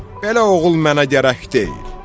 Belə oğul mənə gərək deyil.